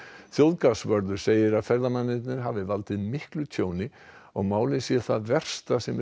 þjóðgarðsvörður segir að ferðamennirnir hafi valdið miklu tjóni og málið sé það versta sem